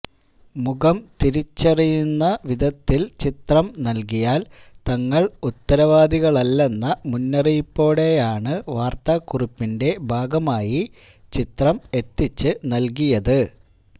മുഖം തിരിച്ചറിയുന്ന വിധത്തില് ചിത്രം നല്കിയാല് തങ്ങള് ഉത്തരവാദികളല്ലെന്ന മുന്നറിയിപ്പോടെയാണ് വാര്ത്താക്കുറിപ്പിന്റെ ഭാഗമായി ചിത്രം എത്തിച്ച് നല്കിയത്